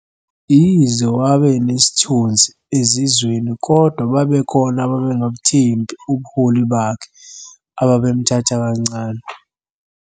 Yize wane enesithunzi ezizweni kodwa babekhona abengabuthembi ubuholi bakhe, ababemuthatha kancane.